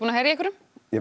ég